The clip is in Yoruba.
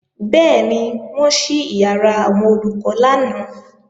Bẹ́ẹ̀ni, wọ́n ṣí ìyàrá àwọn Olùkọ́ lánàá